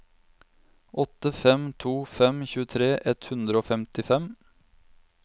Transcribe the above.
åtte fem to fem tjuetre ett hundre og femtifem